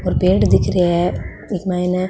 और पेड़ दिख रहे है इ के मायने --